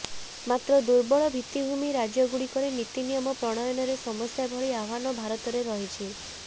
ମାତ୍ର ଦୁର୍ବଳ ଭିତ୍ତିଭୂମି ରାଜ୍ୟଗୁଡ଼ିକରେ ନୀତି ନିୟମ ପ୍ରଣୟନରେ ସମସ୍ୟା ଭଳି ଆହ୍ବାନ ଭାରତରେ ରହିଛି